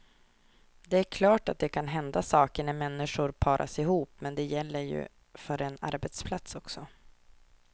Det är klart att det kan hända saker när människor paras ihop, men det gäller ju för en arbetsplats också.